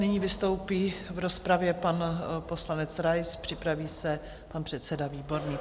Nyní vystoupí v rozpravě pan poslanec Rais, připraví se pan předseda Výborný.